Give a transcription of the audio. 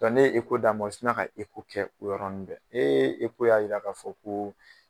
Dɔnku ne ye eko d'a ma, u sin na ka eko kɛ o yɔrɔnin bɛ ee ko y'a jira k'a fɔ ko